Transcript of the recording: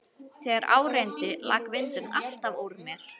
Þegar á reyndi lak vindurinn alltaf úr mér.